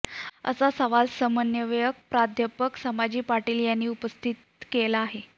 असा सवाल समन्वयक प्राध्यापक संभाजी पाटील यांनी उपस्थित केला आहे